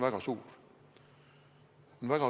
Väga suur!